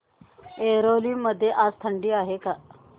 ऐरोली मध्ये आज थंडी आहे का